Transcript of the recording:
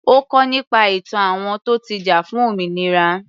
Ó kọ́ nípa ìtàn àwọn tó ti jà fún òmìnira.